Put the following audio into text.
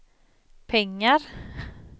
pengar